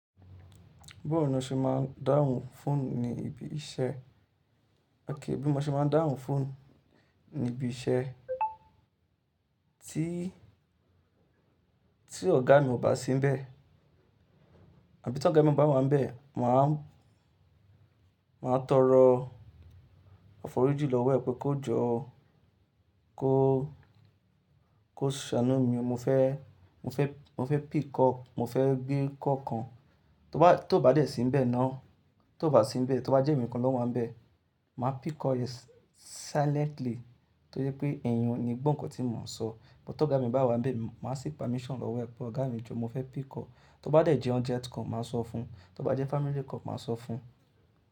Bí mo ṣe máa ń dáhùn fóònù ní ibi iṣẹ́, kí bí mo ṣe máa ń dáhùn fóònù ní ibi iṣẹ́ tí, tí ọ̀gá mi ò bá sínbẹ̀, àbí tí ọ̀gá mi bá wà n bẹ̀, màá, màá tọrọ ọ foriji lọ́wọ́ ẹ pé kó jọ, kó, kó ṣàánú mi, mo fẹ́, mo fẹ́, mo fẹ́ pick call, mo fẹ́ gbé call kan. Tó bá dẹ̀ sínbẹ̀ ná, tó bá sínbẹ̀, tó bá jẹ́ èmi kan ló máa ń bẹ̀, màá pick call yẹn silently tó yẹ pé ẹ́yàn ni gbọ̀n nǹkan tí mò ń sọ. Bútí ọ̀gá mi bá wà níbẹ̀, màá sí permission lọ́wọ́ ẹ pé ọ̀gá mi jọ mo fẹ́ pick call. Tó bá jẹ́ urgent call, màá sọ fún un, tó bá jẹ́ family call, màá sọ fún un.